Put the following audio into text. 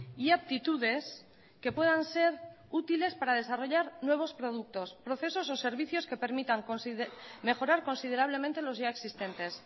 y aptitudes que puedan ser útiles para desarrollar nuevos productos procesos o servicios que permitan mejorar considerablemente los ya existentes